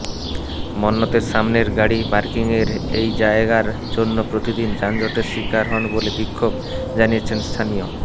মন্নতের সামনের গাড়ি পার্কিংয়ের এই জায়গার জন্য প্রতিদিন যানজটের শিকার হন বলে বিক্ষোভ জানিয়েছিলেন স্থানীয়